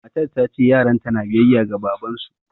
Matar ta ce yaranta na biyayya ga babansu